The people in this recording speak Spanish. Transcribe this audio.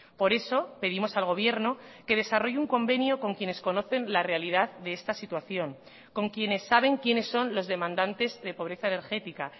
por eso pedimos al gobierno que desarrolle un convenio con quienes conocen la realidad de esta situación con quienes saben quiénes son los demandantes de pobreza energética